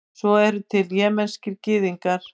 svo eru til jemenskir gyðingar